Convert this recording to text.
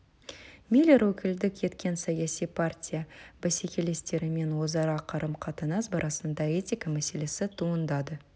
миллер өкілдік еткен саяси партия бәсекелестерімен өзара қарым-қатынас барысында этика мәселесі туындады